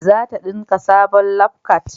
zata dinka sabon labkwat